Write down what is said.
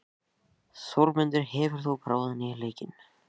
Þórmundur, hefur þú prófað nýja leikinn?